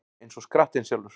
Eins og skrattinn sjálfur